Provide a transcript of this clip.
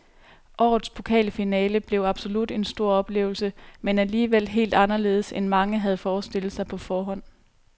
Årets pokalfinale blev absolut en stor oplevelse, men alligevel helt anderledes end mange havde forestillet sig på forhånd.